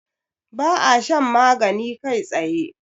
ba a shan magani kai tsaye